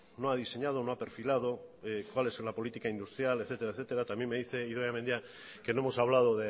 no ha diseñado no ha perfilado cuál es la política industrial etcétera etcétera también me dice idoia mendia que no hemos hablado